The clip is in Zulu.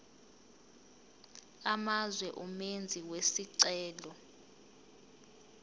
amazwe umenzi wesicelo